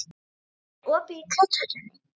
Makan, er opið í Kjöthöllinni?